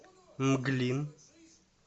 мглин